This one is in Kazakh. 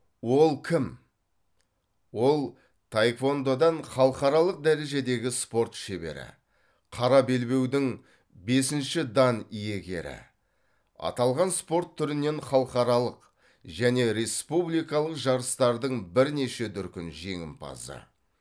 ол кім ол таеквондодан халықаралық дәрежедегі спорт шебері қара белбеудің бесінші дан иегері аталған спорт түрінен халықаралық және республикалық жарыстардың бірнеше дүркін жеңімпазы